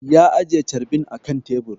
Ya ajiye carbin a kan tebur